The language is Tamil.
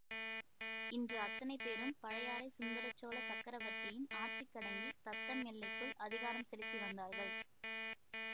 இன்று அத்தனை பேரும் பழையாறைச் சுந்தரசோழ சக்கரவர்த்தியின் ஆட்சிக்கடங்கித் தத்தம் எல்லைக்குள் அதிகாரம் செலுத்தி வந்தார்கள்